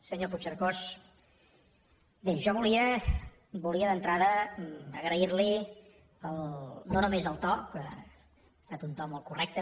senyor puigcercós bé jo volia d’entrada agrair li no només el to que ha estat un to molt correcte